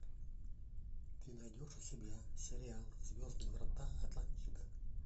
ты найдешь у себя сериал звездные врата атлантида